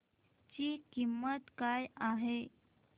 ची किंमत काय आहे